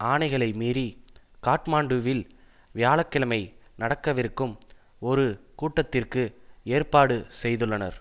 ஆணைகளை மீறி காட்மாண்டுவில் வியாழ கிழமை நடக்கவிருக்கும் ஒரு கூட்டத்திற்கு ஏற்பாடு செய்துள்ளனர்